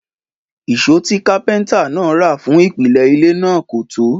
Ìṣó tí Kápẹ́ntà náà rà fún ìpìlẹ̀ ilé náà kò tó